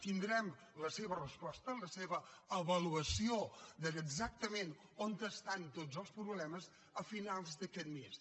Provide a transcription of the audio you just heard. tindrem la seva resposta la seva avaluació d’exactament on estan tots els problemes a finals d’aquest mes